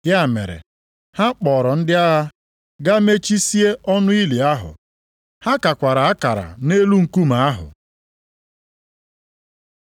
Ya mere, ha kpọrọ ndị agha gaa mechizie ọnụ ili ahụ. Ha kakwara akara nʼelu nkume ahụ.